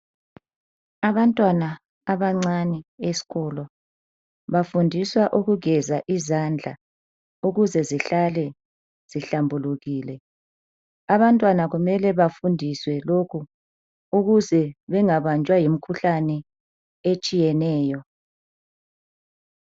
Abantwana abancane esikolo bafundiswa ukugeza izandla ukuze zihlale zihlambulukile. Abantwana kumele bafundiswe lokhu ukuze bengabanjwa yimkhuhlane etshiyeneyo.